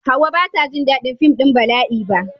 Hauwa ba ta ji daɗin fim ɗin bala'i ba.